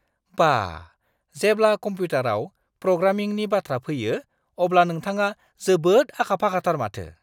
बा! जेब्ला कम्प्युटारआव प्रग्रामिंनि बाथ्रा फैयो, अब्ला नोंथाङा जोबोद आखा-फाखाथार माथो!